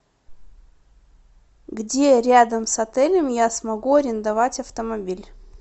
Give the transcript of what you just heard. где рядом с отелем я смогу арендовать автомобиль